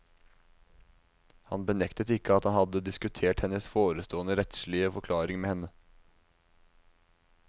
Han benektet ikke at han hadde diskutert hennes forestående rettslige forklaring med henne.